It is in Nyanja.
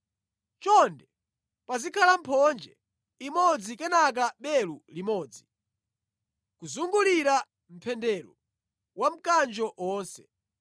Choncho pazikhala mphonje imodzi kenaka belu limodzi, kuzungulira mpendero wa mkanjo wonse.